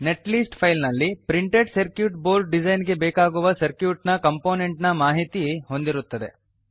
net list file ನಲ್ಲಿ printed circuit board design ಗೆ ಬೇಕಾಗುವ ಸರ್ಕ್ಯೂಟ್ ನ ಕಂಪೊನೆಂಟ್ ನ ಮಾಹಿತಿ ಹೊಂದಿರುತ್ತದೆ